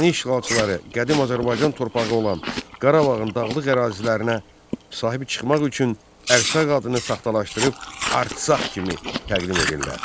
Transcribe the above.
Erməni işğalçıları qədim Azərbaycan torpağı olan Qarabağın dağlıq ərazilərinə sahib çıxmaq üçün Ərsaq adını saxtalaşdırıb Artsak kimi təqdim edirlər.